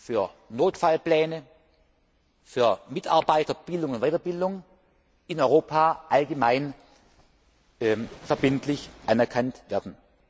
für Notfallpläne, für Mitarbeiterbildung und weiterbildung in Europa allgemein verbindlich anerkannt werden.